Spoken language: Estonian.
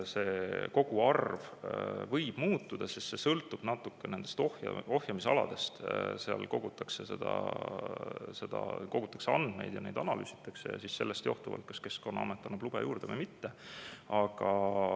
See koguarv võib muutuda, sest see sõltub natukene nendest ohjamisaladest, seal kogutakse andmeid, neid analüüsitakse ja sellest johtuvalt Keskkonnaamet kas annab lube juurde või mitte.